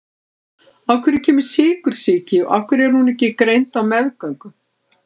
Af hverju kemur sykursýki og af hverju er hún ekki greind á meðgöngu?